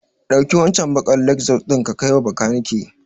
Ɗauki waccen baƙar Lexus ɗin ka kaiwa bakanike.